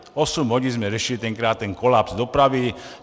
Osm hodin jsme řešili tenkrát ten kolaps dopravy.